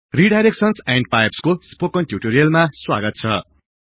redirection and pipes को spoken टिउटोरियलमा स्वागत छ